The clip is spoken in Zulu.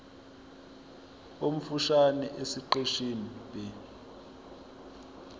omfushane esiqeshini b